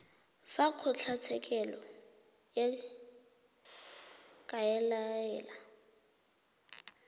fa kgotlatshekelo e ka laela